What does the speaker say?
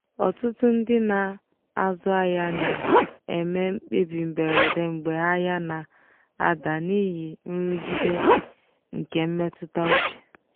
ọtụtụ ndị na-azụ ahịa na-eme mkpebi mberede mgbe ahịa na-ada n'ihi nrụgide nke mmetụta uche.